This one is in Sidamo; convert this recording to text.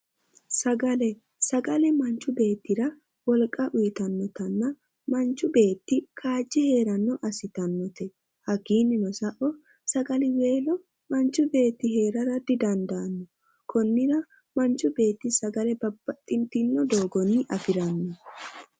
Sagale sagale manchi beettira wolqa uyiitannotanna manchu beetti kaajje heeranno assitannote hakkiinnino sae sagaliweellp manchi beetti heera didandaanno konnira manchi beetti sagale babbaxitino dogonni afiranno.